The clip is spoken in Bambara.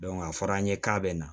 a fɔra an ye k'a bɛ na